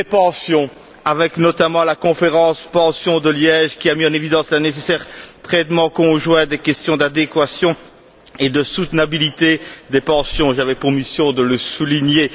les pensions, avec notamment la conférence sur les pensions qui s'est tenue à Liège, qui a mis en évidence le nécessaire traitement conjoint des questions d'adéquation et de soutenabilité des pensions j'avais pour mission de le souligner